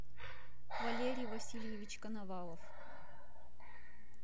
валерий васильевич коновалов